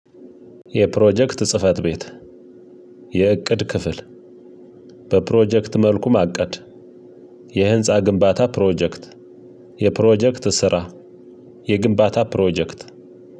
የፕሮጀክት ጽህፈት ቤት የእቅድ ክፍል በፕሮጀክት መልኩ ማቀድ የህንፃ ግንባታ ፕሮጀክት የፕሮጀክት ስራ የግንባታ ፕሮጀክት